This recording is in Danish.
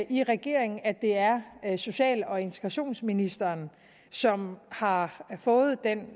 i regeringen at det er er social og integrationsministeren som har fået den